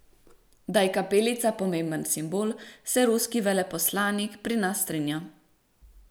Da je kapelica pomemben simbol, se ruski veleposlanik pri nas strinja.